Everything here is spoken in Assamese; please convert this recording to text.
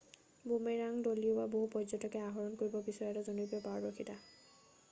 বুমেৰাঙ দলিউৱা বহু পৰ্য্যটকে আহৰণ কৰিব বিচৰা এটা জনপ্ৰিয় পাৰদৰ্শিতা